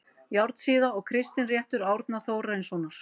Járnsíða og Kristinréttur Árna Þórarinssonar